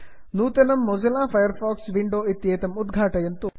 नूतनं Mozilla Firefox window इत्येतमत् उद्घाटयन्तु